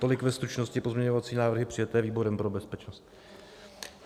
Tolik ve stručnosti pozměňovací návrhy přijaté výborem pro bezpečnost.